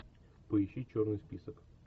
поищи черный список